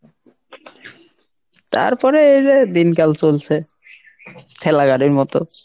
তারপরে এইযে দিনকাল চলছে, ঠেলা গাড়ির মত।